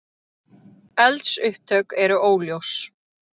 Eldsupptök eru óljós